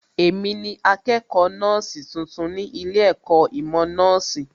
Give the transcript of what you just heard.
Èmi ni akẹ́kọ̀ọ́ nọ́ọ̀sì tuntun ní ilé ẹ̀kọ́ ìmọ̀ nọ́ọ̀sì